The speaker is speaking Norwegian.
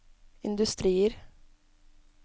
industrier